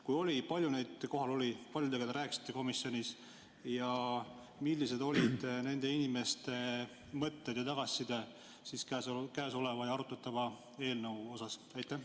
Kui oli, siis kui palju neid kohal oli, kui paljudega te rääkisite komisjonis ja millised olid nende inimeste mõtted ja tagasiside arutatava eelnõu kohta?